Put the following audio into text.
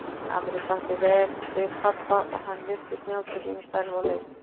Ameríka átti vel við pabba og hann virtist njóta sín í starfi og leik.